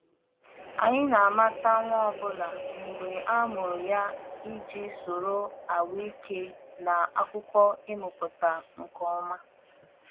Anyị na-amata nwa ọ bụla mgbe a mụrụ ya iji soro ahụike na akụkọ ịmụpụta nke ọma.